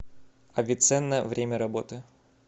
авиценна время работы